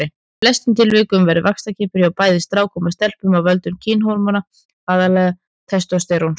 Í flestum tilvikum verður vaxtarkippur hjá bæði strákum og stelpum af völdum kynhormóna, aðallega testósteróns.